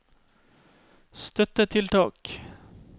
støttetiltak